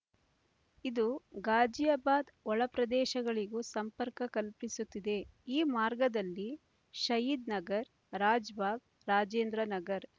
ಇದು ಘಾಜಿಯಾಬಾದ್ ಒಳ ಪ್ರದೇಶಗಳಿಗೂ ಸಂಪರ್ಕ ಕಲ್ಪಿಸುತ್ತಿದೆ ಈ ಮಾರ್ಗದಲ್ಲಿ ಷಹೀದ್ ನಗರ್ ರಾಜ್‌ಭಾಗ್ ರಾಜೇಂದ್ರ ನಗರ್